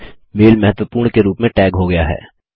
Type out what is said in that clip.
mail महत्वपूर्ण के रूप में टैग हो गया है